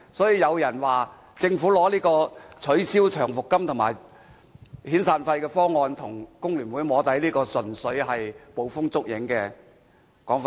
有人說政府拿取消長期服務金和遣散費的方案跟工聯會"摸底"，這純粹是捕風捉影的說法。